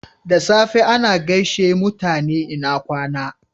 Da safe ana gaishe mutane "lna kwana."